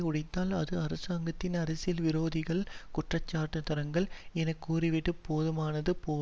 உடைத்தால் அது அரசாங்கத்தின் அரசியல் விரோதிகளை குற்றஞ்சார்ந்தவர்கள் எனக்கூறிவிடப் போதுமானது போலும்